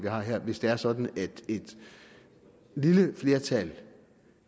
hvis det er sådan at et lille flertal